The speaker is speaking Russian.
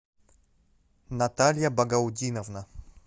наталья багаутдиновна